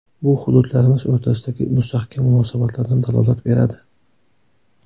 Bu hududlarimiz o‘rtasidagi mustahkam munosabatlardan dalolat beradi.